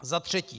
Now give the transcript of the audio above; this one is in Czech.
Za třetí.